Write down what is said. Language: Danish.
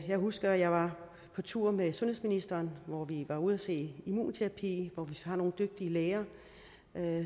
jeg husker at jeg var på tur med sundhedsministeren hvor vi var ude at se immunterapi for vi har nogle dygtige læger